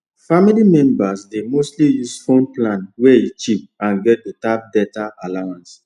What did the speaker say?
family members dey mostly use phone plans wey cheap and get better data allowance